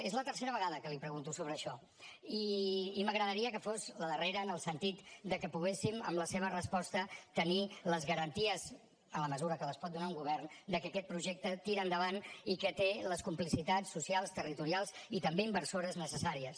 és la tercera vegada que li pregunto sobre això i m’agradaria que fos la darrera en el sentit que poguéssim amb la seva resposta tenir les garanties en la mesura que les pot donar un govern que aquest projecte tira endavant i que té les complicitats socials territorials i també inversores necessàries